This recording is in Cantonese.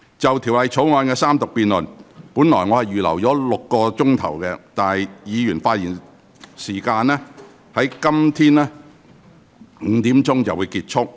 就《條例草案》的三讀辯論，我原本預留了6小時，而議員發言的部分會於今天下午5時左右結束。